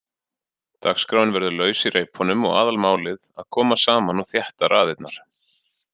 Dagskráin verður laus í reipunum og aðalmálið að koma saman og þétta raðirnar.